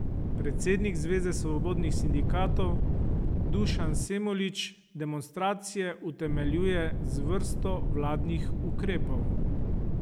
Predsednik Zveze svobodnih sindikatov Dušan Semolič demonstracije utemeljuje z vrsto vladnih ukrepov.